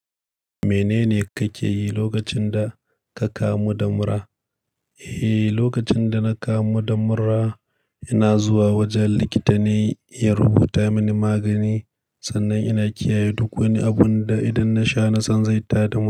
Mene ne kake yi lokacin da ka kamu da mura? Eh, lokacin da na kamu da mura, ina zuwa wajen likita ne ya rubuta mini magani. Sannan ina kiyaye duk wani abun da idan na sha, na san zai tada mura.